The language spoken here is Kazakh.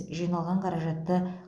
жиналған қаражатты